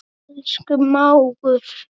Elsku mágur.